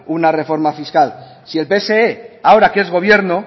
una reforma fiscal si el pse ahora que es gobierno